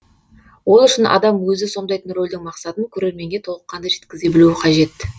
ол үшін адам өзі сомдайтын рөлдің мақсатын көрерменге толыққанды жеткізе білу қажет